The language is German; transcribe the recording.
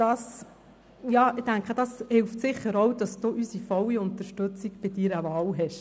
Ich denke: Das hilft sicher auch dabei, dass Sie unsere volle Unterstützung bei Ihrer Wahl haben.